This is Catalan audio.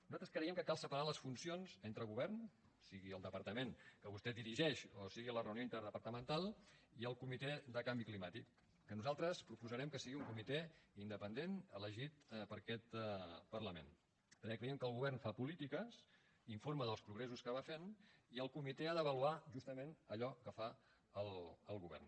nosaltres creiem que cal separar les funcions entre govern sigui el departament que vostè dirigeix o sigui la reunió interdepartamental i el comitè de canvi climàtic que nosaltres proposarem que sigui un comitè independent elegit per aquest parlament perquè creiem que el govern fa polítiques informa dels progressos que va fent i el comitè ha d’avaluar justament allò que fa el govern